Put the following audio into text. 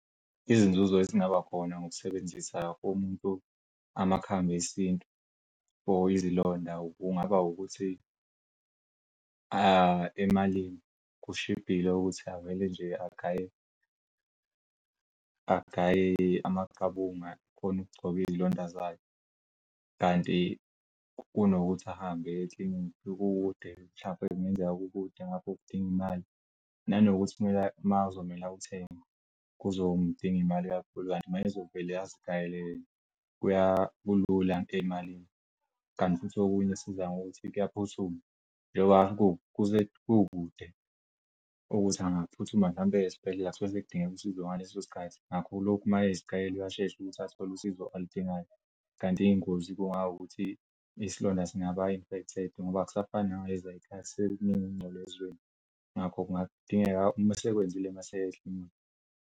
Izinzuzo ezingaba khona ngokusebenzisa amakhambi esintu for izilonda kungaba ukuthi emalini kushibhile ukuthi avele nje agaye agaye.amaqabunga khona ukugcob'iy'londa zakhe Kanti kunokuthi ahambe eye e-clinic ikude mhlampe kungenzeka kukude ngakho kudinga'imali nanokuthi kumele mawuzomtshela awuthenga kuzo. Ngidinga imali kakhulu kanti makuzovela azigayele kulula ey'malini kanti futh'okunye esiza ngokuthi kuyaphuthuma njengoba kukude ukuthi angaphuthuma hlampe aye sbhedlelauma kudingeka usizo ngaleso sikhathi ngakho lokhu mayezicela uyashesha ukuthi athole usizo aludingayo, kanti iy'ngozi kungawukuthi isilonda singaba infected ngoba akusafani ngaleziya zikhathi sekukuningi ukungcola ezweni ngakho kungadingeka masekwenzile masey' eklinikhi.